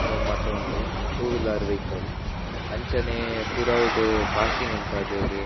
ಅಹ್ ಮಾತ ಉಂಡು two wheeler vehicle ಅಂಚನೆ ಪಿರಾವುಡು ಪಾರ್ಕಿಂಗ್ ಉಂತಾದೆರ್.